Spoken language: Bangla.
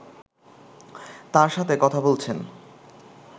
তাঁর সাথে কথা বলছেন